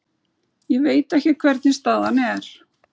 Ég veit ekki hvernig staðan er.